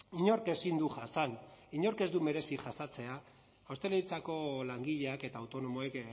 inork ezin du jasan inork ez du merezi jasatea ostalaritzako langileak eta autonomoek